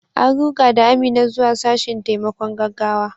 An ruga da Amina zuwa sashen taimakon gaggawa.